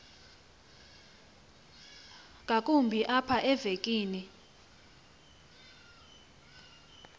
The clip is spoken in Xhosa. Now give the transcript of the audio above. ngakumbi apha evekini